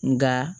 Nka